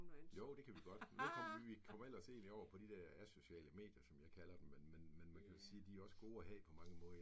Jo, det kan vi godt. Men nu kom vi vi kom ellers helt over på de her asociale medier, som jeg kalder dem, men man man kan vel sige, de er også gode at have på mange måder